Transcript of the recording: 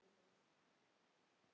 Það bætist alltaf í hópinn.